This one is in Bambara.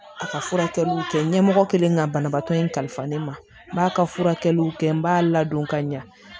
A ka furakɛliw kɛ ɲɛmɔgɔ kɛlen ka banabaatɔ in kalifa ne ma n b'a ka furakɛliw kɛ n b'a ladon ka ɲɛ